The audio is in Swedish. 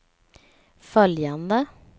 följande